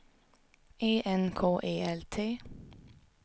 E N K E L T